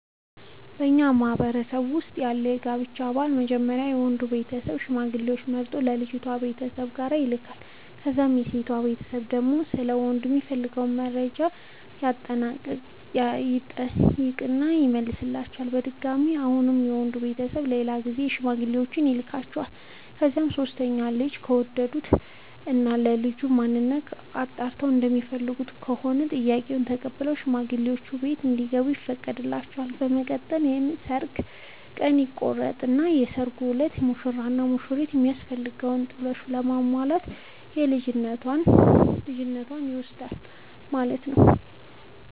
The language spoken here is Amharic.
በኛ ማህበረሰብ ውስጥ ያለው የጋብቻ ባህል መጀመሪያ የወንዱ ቤተሰብ ሽማግሌዎች መርጦ የልጅቷ ቤተሰብ ጋር ይልካል። ከዛም የሴቷ ቤተሰብ ደግሞ ስለ ወንዱ የሚፈልጉትን መረጃ ይጠይቁና ይመልሷቸዋል። በድጋሚ አሁንም የወንድ ቤተሰብ በሌላ ጊዜ ሽማግሌዎቹን ይልኳቸዋል። ከዛ በሶስተኛው ልጁን ከወደዱት እና ስለልጁ ማንነት አጣርተው እንደሚፈልጉት ከሆነ ጥያቄውን ተቀብለው ሽማግሌዎቹ ቤት እንዲገቡ ይፈቅዱላቸዋል። በመቀጠል የሰርግ ቀን ይቆርጡና በሰርጉ እለት ሙሽራው ለሙሽሪት የሚያስፈልገውን ጥሎሽ በማሟላት ልጅቷን ይወስዳል ማለት ነው።